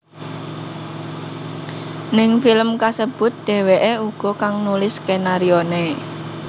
Ning film kasebut dheweké uga kang nulis skenarioné